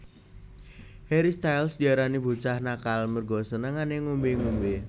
Harry Styles diarani bocah nakal merga senengane ngombe ngombe